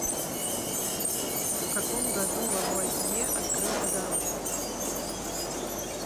в каком году лавуазье открыл водород